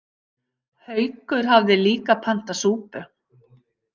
Haukur hafði líka pantað súpu.